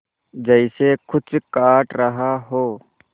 जैसे कुछ काट रहा हो